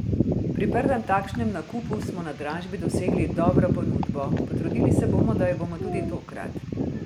Pri prvem takšnem nakupu smo na dražbi dosegli dobro ponudbo, potrudili se bomo, da jo bomo tudi tokrat.